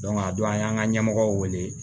a don an y'an ka ɲɛmɔgɔw wele